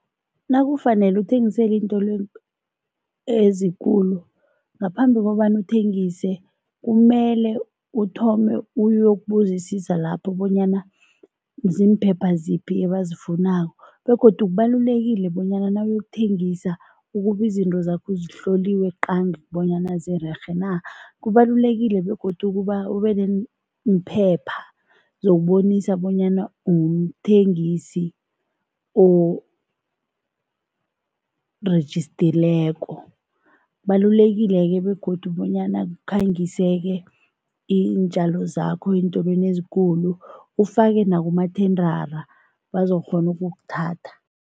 Nakufanele uthengisela iintolo ezikulu, ngaphambi kobana uthengise kumele uthome uyokubuzisisa lapho bonyana zimphepha ziphi abazifunako begodu kubalulekile bonyana nawuyokuthengisa ukube izinto zakho zihloliwe qangi bonyana zirerhe na. Kubalulekile begodu ube nemphepha zokubonisa bonyana umthengisi orejistileko, kubalulekile-ke begodu bonyana ukhangise-ke iintjalo zakho eentolweni ezikulu, ufake nakumathendara bazokghona ukukuthatha.